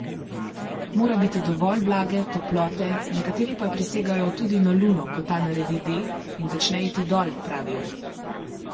Mora biti dovolj vlage, toplote, nekateri pa prisegajo tudi na luno, ko ta naredi D in začne iti dol, pravijo!